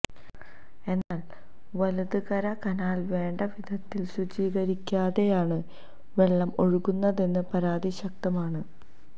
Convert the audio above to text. എന്നാല് വലത് കര കനാല് വേണ്ട വിധത്തില് ശുചീകരിക്കാതെയാണ് വെളളം ഒഴുക്കുന്നതെന്ന പരാതി ശക്തമാണ്